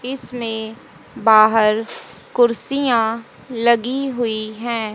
इसमें बाहर कुर्सियां लगी हुईं हैं।